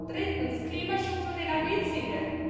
Drittens Klimaschutz und Energieziele.